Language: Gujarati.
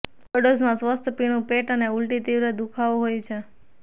ઓવરડોઝ માં સ્વસ્થ પીણું પેટ અને ઊલ્ટી તીવ્ર દુખાવો હોય છે